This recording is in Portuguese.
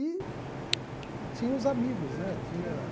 E tinha os amigos, né? Tinha